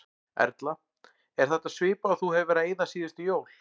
Erla: Er þetta svipað og þú hefur verið að eyða síðustu jól?